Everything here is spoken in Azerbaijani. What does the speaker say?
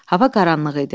Hava qaranlıq idi.